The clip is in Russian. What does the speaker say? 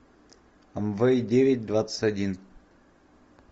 амвей девять двадцать один